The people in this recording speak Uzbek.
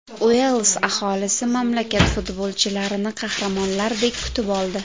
Uels aholisi mamlakat futbolchilarini qahramonlardek kutib oldi.